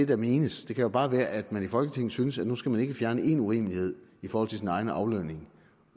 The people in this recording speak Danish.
der menes det kan jo bare være at man i folketinget synes at nu skal man ikke fjerne en urimelighed i forhold til sin egen aflønning